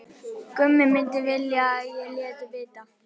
Gummi myndi vilja að ég léti vita.